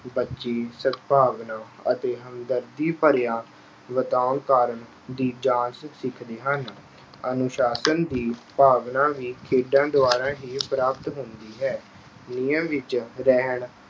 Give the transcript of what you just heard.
ਬੱਚੇ ਸਦਭਾਵਨਾ ਅਤੇ ਹਮਦਰਦੀ ਭਰਿਆ ਦੀ ਜਾਚ ਸਿੱਖਦੇ ਹਨ। ਅਨੁਸ਼ਾਸਨ ਦੀ ਭਾਵਨਾ ਵੀ ਖੇਡਾਂ ਦੁਆਰਾ ਹੀ ਪ੍ਰਾਪਤ ਹੁੰਦੀ ਹੈ। ਨਿਯਮ ਵਿੱਚ ਰਹਿਣ